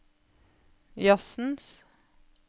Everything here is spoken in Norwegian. jazzens